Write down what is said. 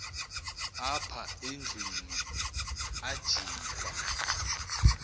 apha endlwini ajikwa